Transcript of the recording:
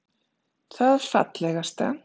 Það fallegasta